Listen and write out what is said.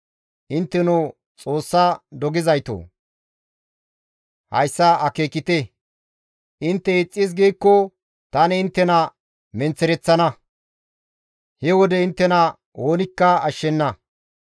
«Intteno Xoossa dogizaytoo! Hayssa akeekite; intte ixxis giikko tani inttena menththereththana; he wode inttena oonikka ashshenna.